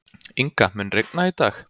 Inga, mun rigna í dag?